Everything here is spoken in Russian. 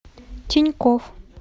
тинькофф